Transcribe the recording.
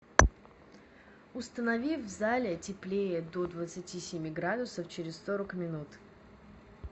установи в зале теплее до двадцати семи градусов через сорок минут